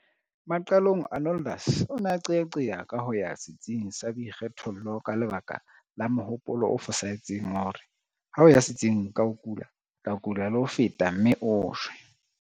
Maqalong Arnoldus o ne a qeaqea ka ho ya setsing sa boikgethollo ka lebaka la mohopolo o fosahetseng wa hore ha o ya setsing ka o kula o tlo kula le ho feta mme o shwe.